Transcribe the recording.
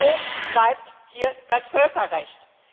Wo bleibt hier das Völkerrecht?